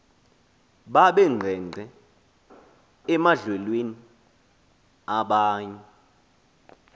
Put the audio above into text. babengqengqe emandlalweni abanye